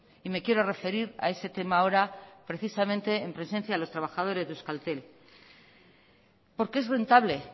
y me quiero referir a ese tema ahora precisamente en presencia de los trabajadores de euskaltel porque es rentable